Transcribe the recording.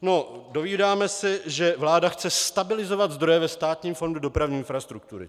No, dovídáme se, že vláda chce stabilizovat zdroje ve Státním fondu dopravní infrastruktury.